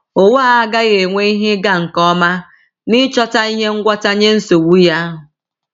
Ụwa a agaghị enwe ihe ịga nke ọma n’ịchọta ihe ngwọta nye nsogbu ya.